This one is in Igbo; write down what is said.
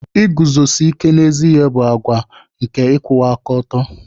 Iguzosi ike n'ezi ihe bụ àgwà nke ịkwụwa aka ọtọ.